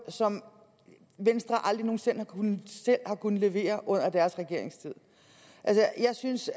som venstre aldrig nogen sinde selv har kunnet levere under deres regeringstid altså jeg synes